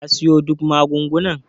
ka siyo duk magungunan?